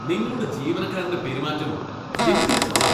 നിങ്ങളുടെ ജീവനക്കാരന്റെ പെരുമാറ്റം എന്തിനു കൊള്ളാം.